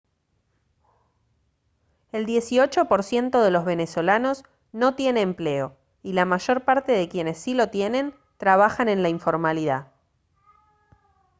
el dieciocho por ciento de los venezolanos no tiene empleo y la mayor parte de quienes sí lo tienen trabajan en la informalidad